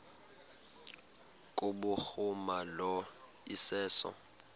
kubhuruma lo iseso